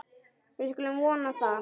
Við skulum vona það.